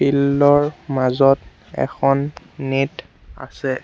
Field ৰ মাজত এখন নেট আছে।